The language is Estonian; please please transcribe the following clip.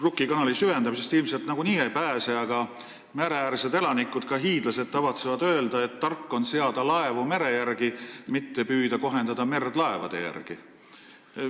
Rukki kanali süvendamisest ilmselt nagunii ei pääse, aga mereäärsed elanikud, näiteks hiidlased, tavatsevad öelda, et tark on seada laevu mere järgi, mitte püüda kohendada merd laevade järgi.